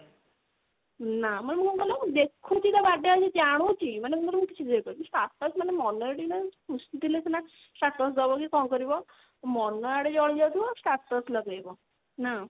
ନା ମାନେ ମୁଁ କଣ କହିଲ ଦେଖୁଛି ତୋ birthday ଆଜି ମୁଁ ଜାଣୁଛି ମାନେ ମୁଁ କିଛି ଦେଇପାରୁନି status ମାନେ ମନ ଟିକେ ସିନା ଖୁସି ଥିଲେ ସିନା status ଦବ କି କଣ କରିବ ମନ ୟାଡ଼େ ଜଳି ଯାଉଥିବ status ଲଗେଇବ ନା